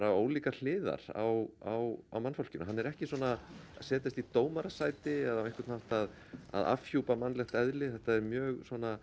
ólíkar hliðar á mannfólkinu hann er ekki að setjast í dómarasæti eða á einhvern hátt að að afhjúpa mannlegt eðli þetta er mjög